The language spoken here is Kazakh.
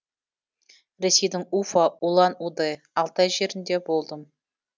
ресейдің уфа улан удэ алтай жерінде болдым